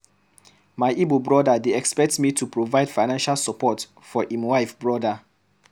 My Igbo brother dey expect me to provide financial support for im wife sister.